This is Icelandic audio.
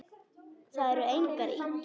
Það eru engar ýkjur.